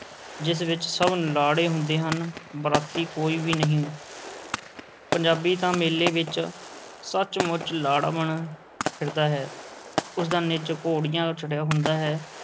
ਜਿਸ ਵਿੱਚ ਸਭ ਲਾੜੇ ਹੁੰਦੇ ਹਨ, ਬਰਾਤੀ ਕੋਈ ਵੀ ਨਹੀਂ ਪੰਜਾਬੀ ਤਾਂ ਮੇਲੇ ਵਿੱਚ ਸੱਚ-ਮੁੱਚ ਲਾੜਾ ਬਣਿਆ ਫਿਰਦਾ ਹੈ, ਉਸ ਦਾ ਨਿੱਜ ਘੋੜੀਆਂ ਚੜ੍ਹਿਆ ਹੁੰਦਾ ਹੈ।